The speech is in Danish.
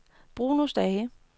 Bruno Stage